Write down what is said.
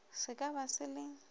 se ka ba se le